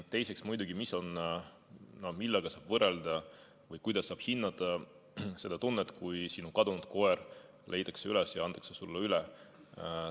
Teiseks muidugi, millega saab võrrelda või kuidas saab hinnata seda tunnet, kui sinu kadunud koer leitakse üles ja antakse sulle üle?